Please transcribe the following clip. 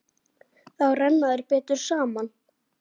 Þá renna þær betur saman.